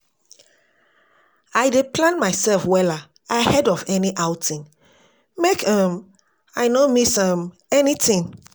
I dey plan mysef wella ahead of any outing, make um I no miss um anytin.